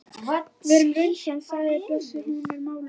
Verum raunsæ, sagði Bjössi, hún er mállaus, hún er falleg.